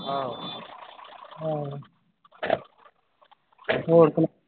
ਆਹੋ ਹੋਰ ਸੁਣਾ